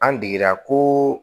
An degera koo